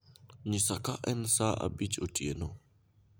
nyisa ka en saa abich otieno